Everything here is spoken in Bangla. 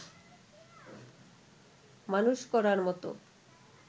মানুষ করার মত